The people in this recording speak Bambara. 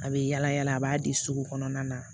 A bɛ yala yala a b'a di sugu kɔnɔna na